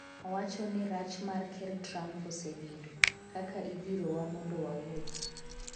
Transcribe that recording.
owacho ni rach mar ker Trump osebedo'' kaka idhirowa mondo wawuogi''